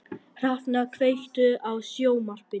Hrafnar, kveiktu á sjónvarpinu.